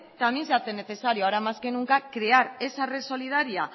también se hace necesario ahora más que nunca crear esa red solidaria